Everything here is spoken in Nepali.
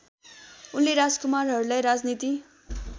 उनले राजकुमारहरूलाई राजनीति